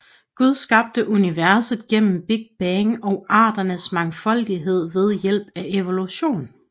Gud skabte universet gennem Big Bang og arternes mangfoldighed ved hjælp af evolution